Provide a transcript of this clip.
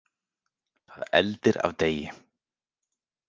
Það eldir af degi.